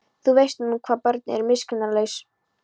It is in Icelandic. Þú veist nú hvað börn eru miskunnarlaus.